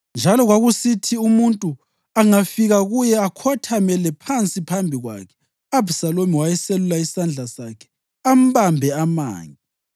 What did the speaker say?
Njalo kwakusithi umuntu angafika kuye akhothamele phansi phambi kwakhe, u-Abhisalomu wayeselula isandla sakhe ambambe amange.